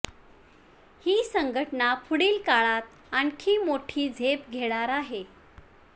ही संघटना पुढील काळात आणखी मोठी झेप घेणार आहे